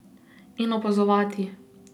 In opazovati.